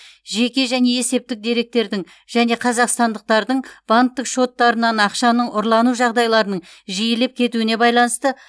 жеке және есептік деректердің және қазақстандықтардың банктік шоттарынан ақшаның ұрлану жағдайларының жиілеп кетуіне байланысты